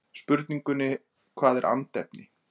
spurningunni hvað er andefni